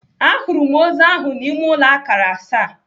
À hụrụ m ozu ahụ n'ime ụlọ akara asaa.